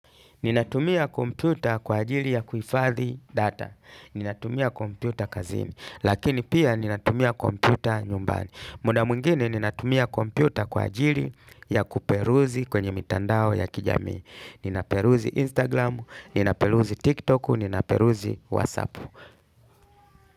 Ninatumia kompyuta kwa ajili ya kuhifadhi data. Ninatumia kompyuta kazini. Lakini pia ninatumia komputa nyumbani. Muda mwingine ninatumia kompyuta kwa ajili ya kuperuzi kwenye mitandao ya kijamii. Ninaperuzi Instagram, ninaperuzi TikTok, ninaperuzi WhatsApp.